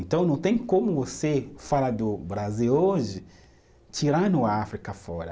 Então não tem como você falar do Brasil hoje tirando a África fora.